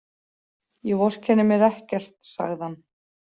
Ég vorkenni mér ekkert, sagði hann.